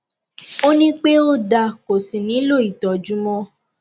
ó ní pé ó da kò sí nihlò ìtọjú mọ